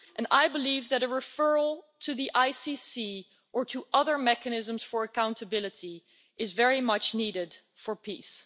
I believe that a referral to the ICC, or to other mechanisms for accountability, is very much needed for peace.